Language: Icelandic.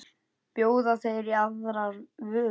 Bjóða þeir í aðrar vörur?